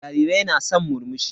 Jarirai na san murmushi.